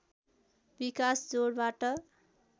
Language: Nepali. विकास जोडबाट